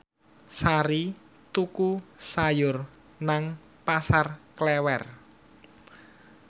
Sari tuku sayur nang Pasar Klewer